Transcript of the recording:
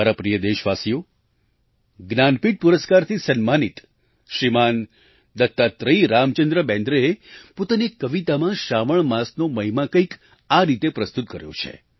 મારા પ્રિય દેશવાસીઓ જ્ઞાનપીઠ પુરસ્કારથી સન્માનિત શ્રીમાન દત્તાત્રેય રામચંદ્ર બેન્દ્રેએ પોતાની એક કવિતામાં શ્રાવણ માસનો મહિમા કંઈક આ રીતે પ્રસ્તુત કર્યો છે